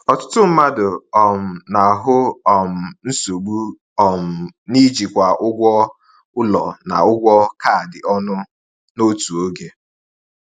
Ọtụtụ mmadụ um na-ahụ um nsogbu um n’ijikwa ụgwọ ụlọ na ụgwọ kaadị ọnụ n’otu oge.